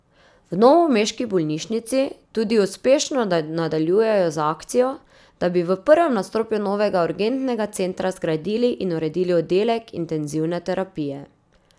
V novomeški bolnišnici tudi uspešno nadaljujejo z akcijo, da bi v prvem nadstropju novega urgentnega centra zgradili in uredili oddelek intenzivne terapije.